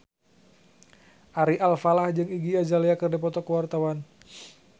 Ari Alfalah jeung Iggy Azalea keur dipoto ku wartawan